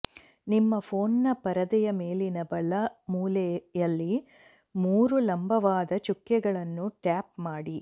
ನಿಮ್ಮ ಫೋನ್ನ ಪರದೆಯ ಮೇಲಿನ ಬಲ ಮೂಲೆಯಲ್ಲಿ ಮೂರು ಲಂಬವಾದ ಚುಕ್ಕೆಗಳನ್ನು ಟ್ಯಾಪ್ ಮಾಡಿ